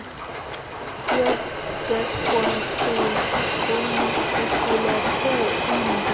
yesterkfontein iqulethe imbumba